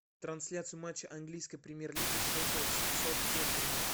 трансляция матча английской премьер лиги шеффилд с саутгемптоном